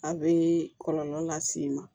A bɛ kɔlɔlɔ las'i ma